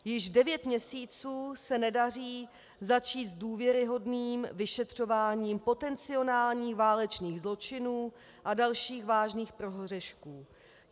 Již devět měsíců se nedaří začít s důvěryhodným vyšetřováním potencionálních válečných zločinů a dalších vážných prohřešků.